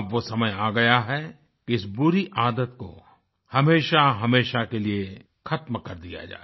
अब वो समय आ गया है कि इस बुरी आदत को हमेशाहमेशा के लिए ख़त्म कर दिया जाए